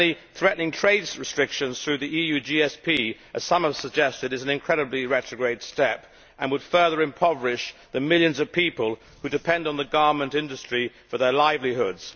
Threatening trade restrictions through the EU GSP as some have suggested is an incredibly retrograde step and would further impoverish the millions of people who depend on the garment industry for their livelihoods.